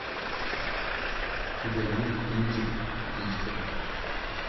у тебя есть кинчик о птичках